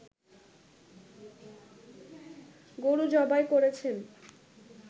গরু জবাই করেছেন